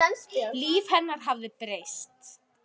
Líf hennar hafði breyst.